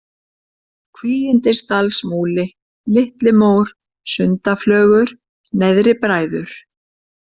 Kvígindisdalsmúli, Litlimór, Sundaflögur, Neðri-Bræður